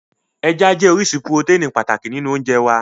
Ẹja jẹ́ orísun purotẹ́ẹ̀nì pàtàkì nínú oúnjẹ wá